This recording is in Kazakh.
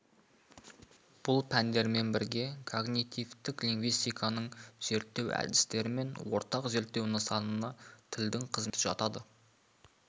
бұл пәндермен бірге когнитивтік лингвистиканың зерттеу әдістері мен ортақ зерттеу нысанына тілдің қызметі жатады